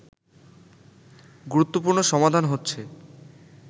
গুরুত্বপূর্ণ সমাধান হচ্ছে